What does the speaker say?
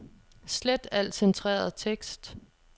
Slet al centreret tekst.